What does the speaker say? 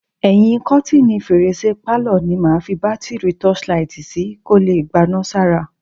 Ẹyin kọ́tíìnì fèrèsé pálọ̀ ni màá fi bátíìrì tọ́ọ́ṣí laìtì sí kó lè gbaná sára.